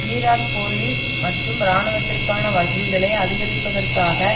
Iraq police மற்றும் இராணுவத்திற்கான வசதிகளை அதிகரிப்பதற்காக